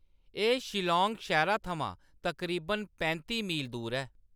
एह्‌‌ शिल्लाँग शैह्‌रा थमां तकरीबन पैंती मील दूर ऐ।